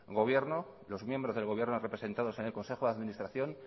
gobierno los miembros del gobierno representados en el consejo de administración